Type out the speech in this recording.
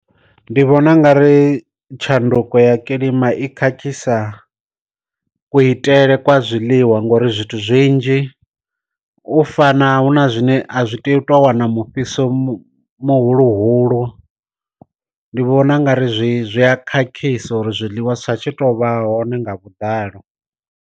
Ndi vhona u nga ri tshanduko ya kilima i khakhisa ku itele kwa zwiḽiwa ngori zwithu zwinzhi u fana huna zwine a zwi teyi u tou wana mufhiso mu muhulu hulu, ndi vhona u nga ri zwi a khakhisa uri zwiḽiwa zwi tshi tou vha hone nga vhuḓalo.